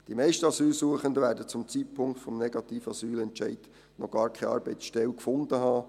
Die meisten Asylsuchenden werden zum Zeitpunkt des negativen Asylentscheids noch gar keine Arbeitsstelle gefunden haben.